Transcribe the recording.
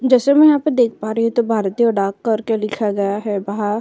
जैसे मैं यहाँ पे देख पा रही हूँ तो भारतीय डाक घर के लिखा गया है बाहा --